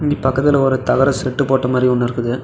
இது பக்கத்துல ஒரு தகர ஷெட்டு போட்ட மாதிரி ஒன்னு இருக்குது.